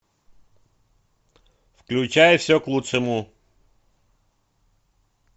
включай все к лучшему